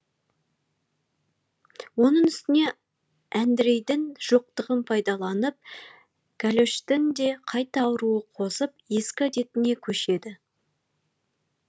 оның үстіне әндрейдің жоқтығын пайдаланып гәлөштің де қайта ауруы қозып ескі әдетіне көшеді